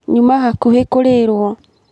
Nyuma hakuhĩ kuurĩrũo.